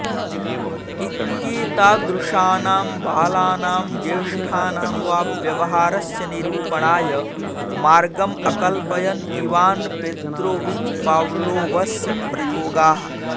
इत्येतादृशानां बालानां ज्येष्ठानां वा व्यवहारस्य निरूपणाय मार्गम् अकल्पयन् इवान् पेत्रोविच् पाव्लोवस्य प्रयोगाः